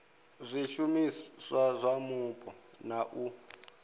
zwishumiswa zwa mupo na u